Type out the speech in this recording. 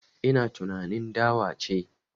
Ina tunanin dawa ce